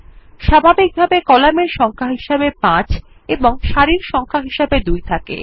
স্বাভাবিকভাবে কলামের সংখ্যা হিসাবে ৫ এবং সারির সংখ্যা হিসাবে ২ থাকে